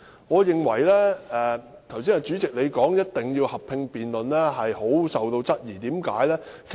我十分質疑主席剛才說一定要進行合併辯論的理據。